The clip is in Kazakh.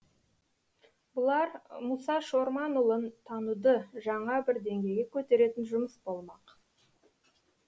бұлар мұса шорманұлын тануды жаңа бір деңгейге көтеретін жұмыс болмақ